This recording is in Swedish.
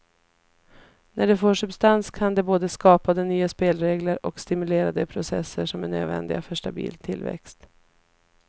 När det får substans kan det både skapa de nya spelregler och stimulera de processer som är nödvändiga för stabil tillväxt.